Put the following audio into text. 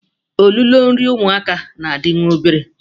Ololo nri ụmụaka na-adị nwa obere